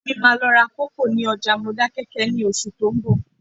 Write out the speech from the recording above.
Ìyá mi máa lọ ra kòkó ní ọjà Modákẹ́kẹ́ ní oṣù tó ń bọ̀